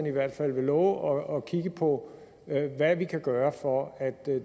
i hvert fald vil love at kigge på hvad vi kan gøre for at